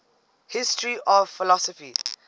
history of philosophy